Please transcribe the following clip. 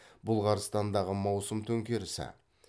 бұлғарстандағы маусым төңкерісі